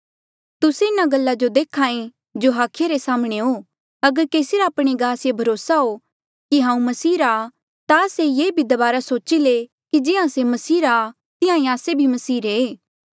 तुस्से इन्हा गल्ला जो देख्हा ऐें जो हाखिया रे साम्हणें हो अगर केसी रा आपणे गास ये भरोसा हो कि हांऊँ मसीह रा आ ता से ये भी दबारा सोची ले कि जिहां से मसीह रा आ तिहां ईं आस्से भी मसीह रे ऐें